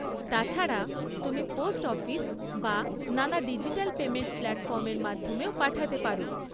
তাছাড়া, তুমি post office বা নানা ডিজিটাল পেমেন্ট প্ল্যাটফর্মের মাধ্যমেও পাঠাতে পারো।